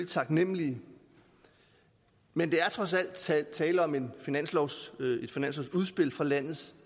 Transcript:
taknemlige men der er trods alt tale tale om et finanslovsudspil fra landets